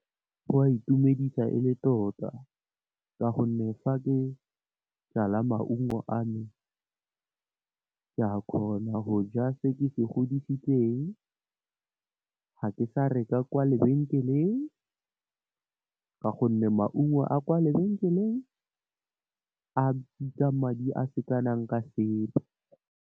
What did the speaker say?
Go a itumedisa e le tota ka gonne, fa ke jala maungo a me, ke a kgona go ja se ke se godisitseng. Ga ke sa reka kwa lebenkeleng ka gonne, maungo a kwa lebenkeleng a bitsa madi a sekanang ka sepe.